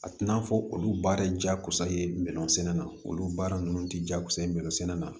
A tɛna fɔ olu baara de jakosa ye mɛlɔnsɛnɛ na olu baara ninnu tɛ jakusa ye min sɛnɛ na